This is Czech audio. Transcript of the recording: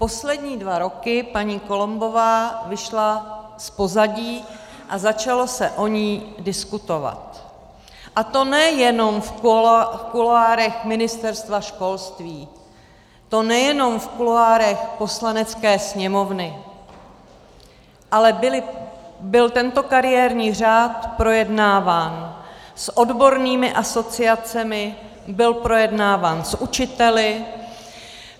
Poslední dva roky paní Columbová vyšla z pozadí a začalo se o ní diskutovat, a to nejenom v kuloárech Ministerstva školství, to nejen v kuloárech Poslanecké sněmovny, ale byl tento kariérní řád projednáván s odbornými asociacemi, byl projednáván s učiteli.